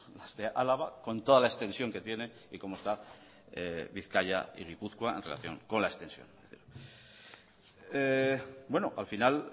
las de álava con toda la extensión que tiene y como está bizkaia y gipuzkoa en relación con la extensión bueno al final